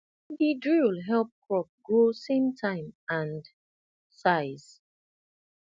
d drill help crop grow same time and size